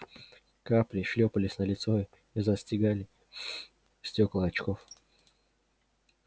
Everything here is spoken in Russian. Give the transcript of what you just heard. капли шлёпались на лицо и застилали стёкла очков